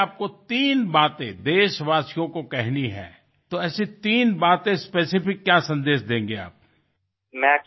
কিন্তু ধরুন আপনি দেশবাসীর উদ্দেশে তিনটি কথা বলতে চান তাহলে এরকম কোন তিনটি নির্দিষ্ট বার্তা আপনি পৌঁছে দিতে চান